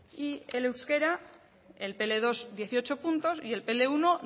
y el euskera el pe ele dos dieciocho puntos y el pe ele uno